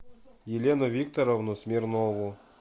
елену викторовну смирнову